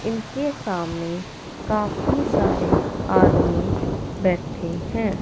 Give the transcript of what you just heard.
इनके सामने काफी सारे आदमी बैठे हैं।